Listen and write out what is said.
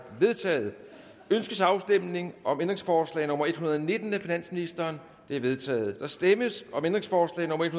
vedtaget ønskes afstemning om ændringsforslag nummer en hundrede og nitten af finansministeren det er vedtaget der stemmes om ændringsforslag nummer en